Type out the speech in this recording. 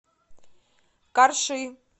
карши